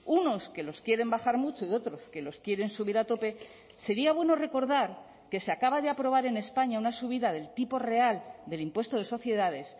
unos que los quieren bajar mucho y otros que los quieren subir a tope sería bueno recordar que se acaba de aprobar en españa una subida del tipo real del impuesto de sociedades